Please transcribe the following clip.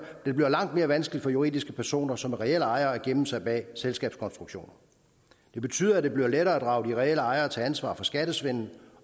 det bliver langt mere vanskeligt for juridiske personer som er reelle ejere at gemme sig bag selskabskonstruktioner det betyder at det bliver lettere at drage de reelle ejere til ansvar for skattesvindel